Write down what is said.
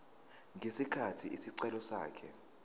ngesikhathi isicelo sakhe